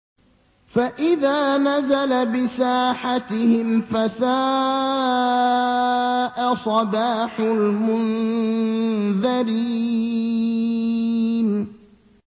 فَإِذَا نَزَلَ بِسَاحَتِهِمْ فَسَاءَ صَبَاحُ الْمُنذَرِينَ